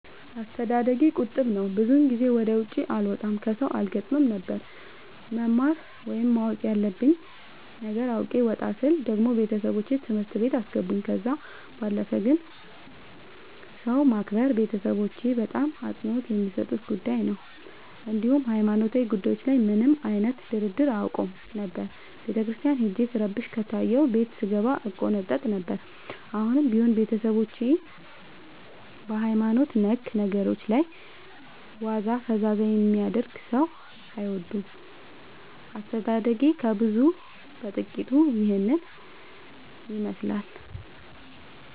አስተዳደጌ ቁጥብ ነበር። ብዙ ጊዜ ወደ ውጪ አልወጣም ከሠው አልገጥምም ነበር። መማር ወይም ማወቅ ያለብኝ ነገር አውቄ ወጣ ስል ደግሞ ቤተሠቦቼ ትምህርት ቤት አስገቡኝ። ከዛ ባለፈ ግን ሰው ማክበር ቤተሠቦቼ በጣም አፅንኦት የሚሠጡት ጉዳይ ነበር። እንዲሁም ሀይማኖታዊ ጉዳዮች ላይ ምንም አይነት ድርድር አያውቁም ነበር። ቤተክርስቲያን ሄጄ ስረብሽ ከታየሁ ቤት ስንገባ እቆነጠጥ ነበር። አሁንም ቢሆን ቤተሠቦቼ በሀይማኖት ነክ ነገሮች ላይ ዋዛ ፈዛዛ የሚያደርግ ሠው አይወዱም። አስተዳደጌ ከብዙው በጥቂቱ ይህን ይመሥላል።